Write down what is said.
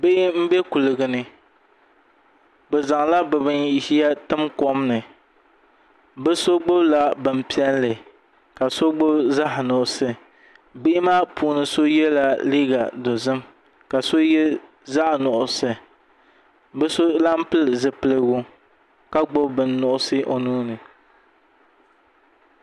Bihi n bɛ kuligi ni bi zaŋla bi ʒiya tim kom ni bi so gbubila bin piɛlli ka so gbubi zaɣ nuɣso bihi maa puuni so yɛla liiga dozim ka so yɛ zaɣ nuɣso bi so lahi pili zipiligu ka gbubi bin nuɣso o nuuni